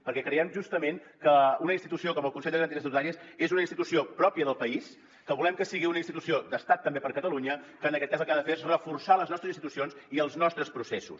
perquè creiem justament que una institució com el consell de garanties estatutàries és una institució pròpia del país que volem que sigui una institució d’estat també per a catalunya que en aquest cas el que ha de fer és reforçar les nostres institucions i els nostres processos